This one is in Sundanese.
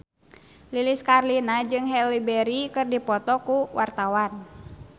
Lilis Karlina jeung Halle Berry keur dipoto ku wartawan